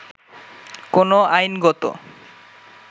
কোন আইনগত